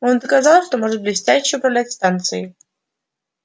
он доказал что может блестяще управлять станцией